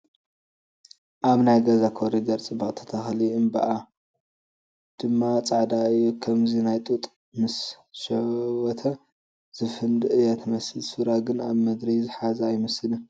ኣብ ናይ ገዛ ኮሪደር ፅብቕቲ ተኽሊ እምበባኣ ድማ ፃዕዳ እዩ ኸምዚ ናይ ጡጥ ምስ ሸወተ ዝፍንድእ እያ ትመስል ሱራ ግን ኣብ ምድሪ ዝሓዘ አይመስለንን ።